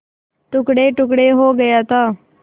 टुकड़ेटुकड़े हो गया था